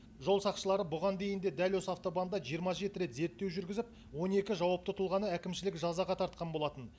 жол сақшылары бұған дейін де дәл осы автобанда жиырма жеті рет зерттеу жүргізіп он екі жауапты тұлғаны әкімшілік жазаға тартқан болатын